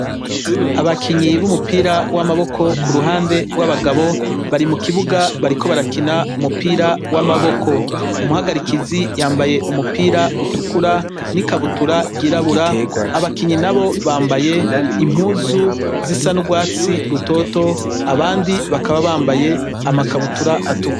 Abakinyi b'umupira w'amaboko ku ruhande w'abagabo bari mu kibuga bariko barakina umupira w'amaboko umuhagarikizi yambaye umupira utukura n'ikabutura rgyirabura abakinyi na bo bambaye impuzu zisa n'urwatsi rutoto abandi bakaba bambayeama akabutura atwa.